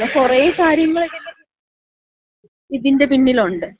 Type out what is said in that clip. അങ്ങനെ കുറെ കാര്യങ്ങള് ഇതിന്‍റെ ഇതിന്‍റെ പിന്നിലുണ്ട്.